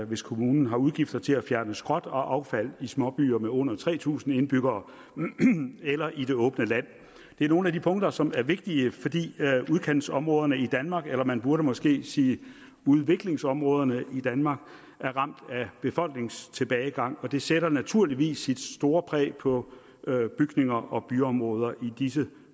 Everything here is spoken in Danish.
hvis kommunen har udgifter til at fjerne skrot og affald i småbyer med under tre tusind indbyggere eller i det åbne land det er nogle af de punkter som er vigtige fordi udkantsområderne i danmark eller man burde måske sige udviklingsområderne i danmark er ramt af befolkningstilbagegang og det sætter naturligvis sit store præg på bygninger og byområder i disse